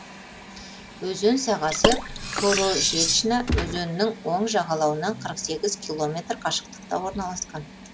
өзен сағасы корожечна өзенінің оң жағалауынан қырық сегіз километр қашықтықта орналасқан